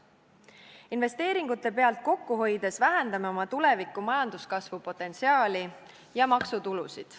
Investeeringute pealt kokku hoides vähendame oma tuleviku majanduskasvu potentsiaali ja maksutulusid.